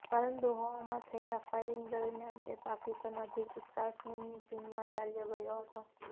પરંતુ હવામાં થયેલા ફાયરિગ દરમ્યાન તે પાકિસ્તાન અધિકૃત કાશ્મીરની સીમામાં ચાલ્યો ગયો હતો